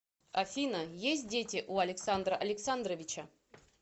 афина есть дети у александра александровича